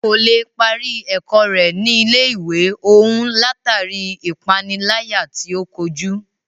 Kò lè parí ẹ̀kọ́ rẹ̀ ní ilé ìwé òún látàri ipániláyà tí o kojú.